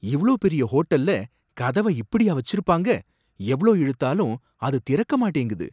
இவ்ளோ பெரிய ஹோட்டல்ல கதவ இப்படியா வச்சிருப்பாங்க! எவ்ளோ இழுத்தாலும் அது திறக்க மாட்டேங்குது.